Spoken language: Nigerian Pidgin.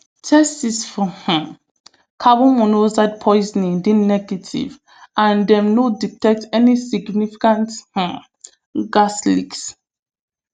tests for um carbon monoxide poisoning dey negative and dem no detect any significant um gas leaks